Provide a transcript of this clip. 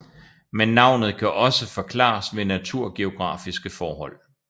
Men navnet kan også forklares ved naturgeografiske forhold